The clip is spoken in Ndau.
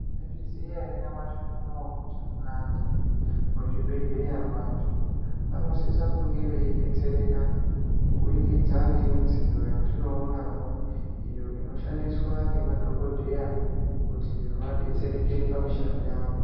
Mwaizviziya ere nyamashi unou kuti mukati mwezvibhedhlera vanthu vanosisa kunge veidetsereka kubudikidza ngemidziyo yatinoonanwo iyo inoshandiswa nemadhokodheya kuti vadetsereke pamushando yavo.